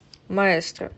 маэстро